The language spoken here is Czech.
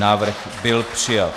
Návrh byl přijat.